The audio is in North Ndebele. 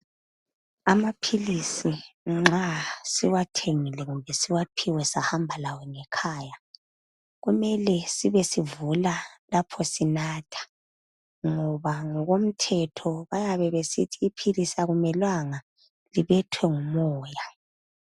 Amaphilisi nxa siwathengile kumbe siwaphiwe sahamba lawo ngekhaya kumele sibe sivula lapho sinatha ngoba ngokomthetho bayabe besithi iphilisi akumelanga libethwe ngumoya.